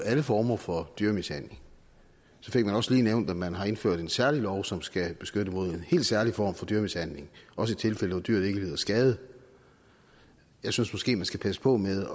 alle former for dyremishandling så fik man også lige nævnt at man har indført en særlig lov som skal beskytte mod en helt særlig form for dyremishandling også i tilfælde hvor dyret ikke lider skade jeg synes måske man skal passe på med